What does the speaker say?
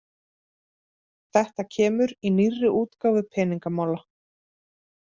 Þetta kemur í nýrri útgáfu Peningamála